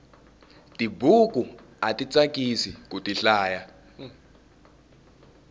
tibuku ati tsakisi kuti hlaya